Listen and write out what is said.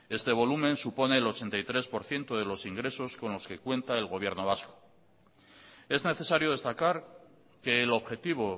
este volumen supone el ochenta y tres por ciento de los ingresos con los que cuenta el gobierno vasco es necesario destacar que el objetivo